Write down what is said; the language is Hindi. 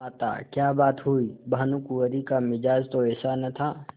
माताक्या बात हुई भानुकुँवरि का मिजाज तो ऐसा न था